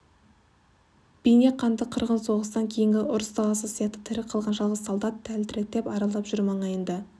бейне қанды қырғын соғыстан кейінгі ұрыс даласы сияқты тірі қалған жалғыз солдат тәлтіректеп аралап жүр маңайында